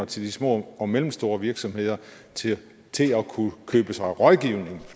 til de små og mellemstore virksomheder til til at kunnne købe sig rådgivning